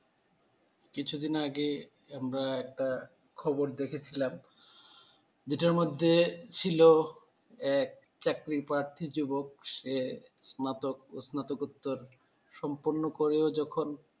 কিছু দিন আগে আমরা একটা খবর দেখেছিলাম জেটার মধ্যে ছিল এক চাকরিপ্রার্থী যুবক সে স্নাতক ও স্নাকোত্তর সম্পূর্ণ করেও যখন